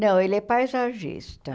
Não, ele é paisagista.